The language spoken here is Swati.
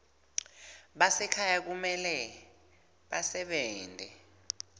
basekhaya kumele basebente